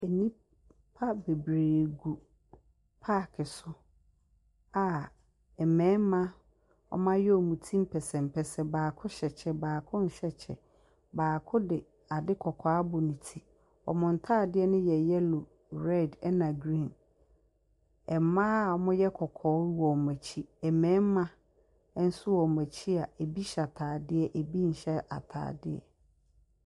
Nnipa bebiree gu paake so a mmarima wɔayɛ wɔn ti mpɛsɛmpɛsɛ baako hyɛ kyɛ baako nhyɛ kyɛ. Baako de ade kɔkɔɔ abɔ ne ti. Wɔn ntadeɛ no yɛ yellow, red ɛna green. ℇmaa a wɔyɛ kɔkɔɔ wɔ wɔn akyi. Mmarima nso wɔ wɔn akyi a ebi nyɛ ataadeɛ ebi nhyɛ ataadeɛ.